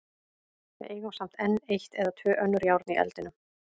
Við eigum samt enn eitt eða tvö önnur járn í eldinum.